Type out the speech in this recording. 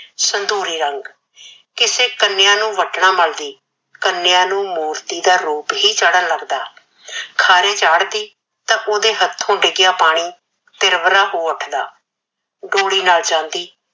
ਸੰਧੂਰੀ ਰੰਗ, ਕਿਸੇ ਕੰਨਿਆ ਨੂੰ ਵਟਣਾ ਮਲਦੀ, ਕੰਨਿਆ ਨੂੰ ਮੂਰਤੀ ਦਾ ਰੂਪ ਹੀ ਚੜਣ ਲੱਗਦਾ। ਖਾਰੇ ਚਾੜਦੀ ਤਾਂ ਉਹਦੇ ਹੱਥੇਂ ਡਿੱਗਿਆ ਪਾਣੀ ਸਿਰਵਰਾ ਹੋ ਉਠਦਾ। ਡੋਲੀ ਨਾਲ ਜਾਂਦੀ